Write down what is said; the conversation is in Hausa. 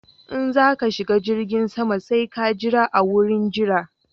In za ka shiga jirgin sama sai ka jira a wurin jira